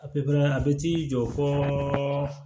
A bɛ a bɛ t'i jɔ fo